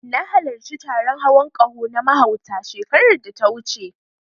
Na halarci taron hawan ƙaho na mahauta, shekarar da ta wuce.